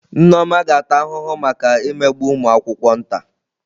Nneoma ga-ata ahụhụ maka imegbu ụmụ akwụkwọ nta.